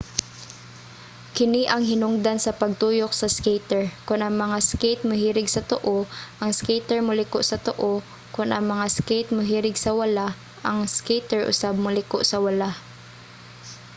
kini ang hinungdan sa pagtuyok sa skater. kon ang mga skate mohirig sa tuo ang skater moliko sa tuo kon ang mga skate mohirig sa wala ang skater usab moliko sa wala